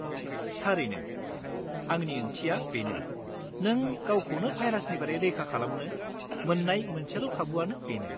थारैनो, आंनि ओंथिया बेनो नों गावखौनो भाइरासनिफ्राय रैखा खालामनो मोन्नाय मोनसेल' खाबुआनो बेनो।